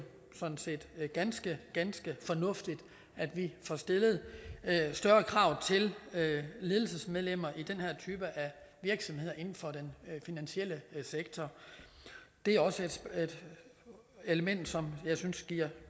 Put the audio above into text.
sådan set ganske ganske fornuftigt at vi får stillet større krav til ledelsesmedlemmer i den her type af virksomheder inden for den finansielle sektor det er også et element som jeg synes giver